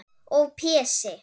Og Pési